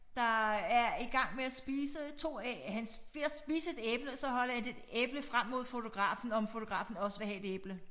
Der er i gang med at spise 2 han ved at spise 1 æble og så holder 1 æble frem mod fotografen om fotografen også vil have et æble